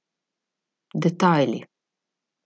Detajli.